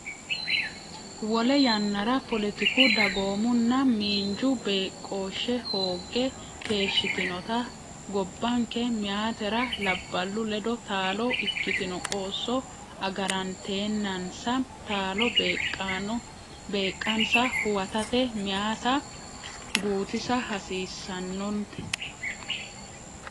Lowo yannara, poletiku, dagoomunna miinju beeqqooshshe hoogge keeshshitinota gobbanke meyaatera labballu ledo taalo ikkitino qoosso agaranteennansa taalo beeqqansa huwatate meyaata guutisa hasiissan- note.